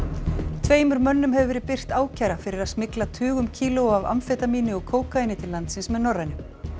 tveimur mönnum hefur verið birt ákæra fyrir að smygla tugum kílóa af amfetamíni og kókaíni til landsins með Norrænu